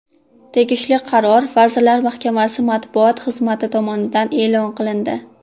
Tegishli qaror vazirlar mahkamasi matbuot xizmati tomonidan e’lon qilindi.